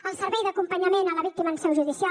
el servei d’acompanyament a la víctima en seu judicial